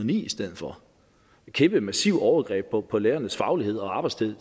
ni i stedet for et kæmpe massivt overgreb på på lærernes faglighed og arbejdstid